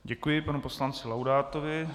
Děkuji panu poslanci Laudátovi.